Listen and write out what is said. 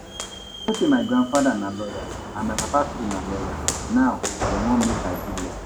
You know say my grandfather na lawyer and my papa too na lawyer, now dem wan make I do law